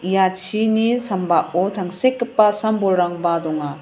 ia chini sambao tangsekgipa sam-bolrangba donga.